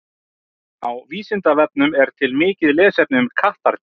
Á Vísindavefnum er til mikið lesefni um kattardýr.